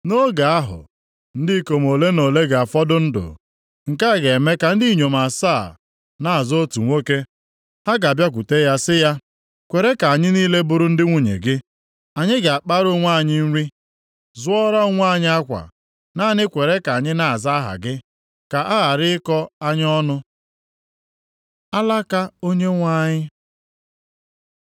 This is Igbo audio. Nʼoge ahụ, ndị ikom ole na ole ga-afọdụ ndụ. Nke a ga-eme ka ndị inyom asaa na-azọ otu nwoke. Ha ga-abịakwute ya sị ya “Kwere ka anyị niile bụrụ ndị nwunye gị! Anyị ga-akpara onwe anyị nri, zụọra onwe anyị akwa. Naanị kwere ka anyị na-aza aha gị, ka a ghara ịkọ anyị ọnụ.” Alaka Onyenwe anyị